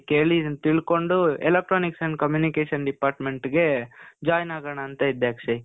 ಕೇಳಿ, ಇದನ್ ತಿಳ್ಕೊಂಡು electronics and communication department ಗೆ join ಆಗೋಣ ಅಂತ ಇದ್ದೆ ಅಕ್ಷಯ್.